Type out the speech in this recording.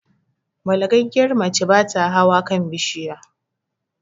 Balagaggiyar mace bata hawa kan bishiya